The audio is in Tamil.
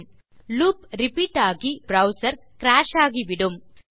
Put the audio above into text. ஆகவே லூப் ரிப்பீட் ஆகி உங்கள் ப்ரவ்சர் கிராஷ் ஆகிவிடும்